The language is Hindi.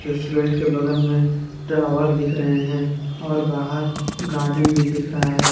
रेस्टोरेंट के बगल में टावर दिख रहे हैं और बाहर गार्डन भी दिख रहा है।